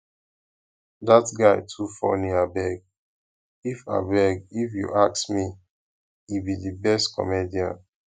dat guy too funny abeg if abeg if you ask me he be the best comedian